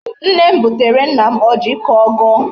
Nne m butere nna m ọjị ka ọ gọọ.